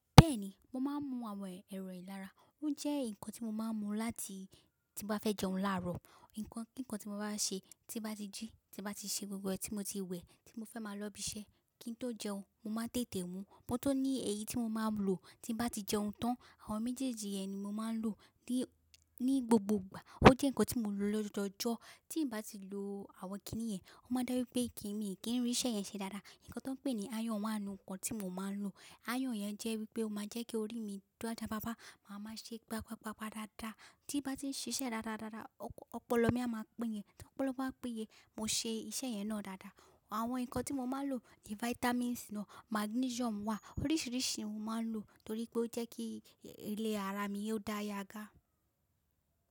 Bẹ́ẹ̀ni, mo máa ń mu àwọn ẹ̀rọ ìlara. Ó jẹ́ nǹkan tí mo máa ń mu láti tí n bá fẹ́ jẹun láárọ̀. Ǹkan kí nǹkan tí mo bá n ṣe, tí n bá ti jí, tí n bá ti ṣe gbogbo ẹ́ tí mo ti wẹ̀, tí mo fẹ́ máa lọ ibi iṣẹ́, kí n tó jẹun, mo máa n tètè mu. Mo tun ní ẹ̀yí tí mo máa lò tí n bá ti jẹun tán. Àwọn méjèèjì yẹn ni mo máa ń lò ní, ní gbogbo ìgbà. Ó jẹ́ nǹkan tí mo lò lójoojú ọjọ́. Tí n bá ti lò àwọn kiní yẹn, ó máa je wípé kí mi kí n rí iṣẹ́ yẹn ṣe dáadáa. Ǹkan tón pè ní iron wá n nu ǹkan tí mo máa ń lò. Iron yẹn jẹ́ wípé ó máa jẹ́ kí orí mi o ja, fafa. Màá máa ṣe pá, pá, pa, pá dáadáa. Tí n bá ti ń ṣiṣẹ́ dáadáa, dáadáa, ọpọlọ mí á máa pín ni. Tí ọpọlọ bá pín yẹn, mo ṣe iṣẹ́ yẹn náà dáadáa. Àwọn nǹkan tí mo máa ń lò ni vitamins naa, magnesium wà. Oríṣiríṣi ohun mo máa ń lò torí pé ó jẹ́ kí ilẹ̀ ara mi ò dáyaga.